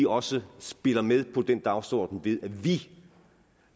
også spille med på den dagsorden ved at vi